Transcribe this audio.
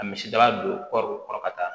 Ka misidaba don kɔɔriw kɔrɔ ka taa